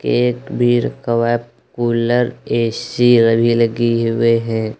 एक वीर कवप कूलर ए_सी लगी हुए हैं।